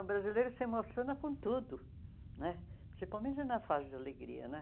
O brasileiro se emociona com tudo né, principalmente na fase de alegria né.